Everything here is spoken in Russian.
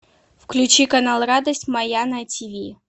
включи канал радость моя на тв